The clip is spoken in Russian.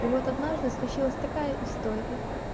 и вот однажды случилась такая история